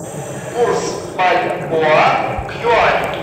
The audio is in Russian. курс бальбоа к юаню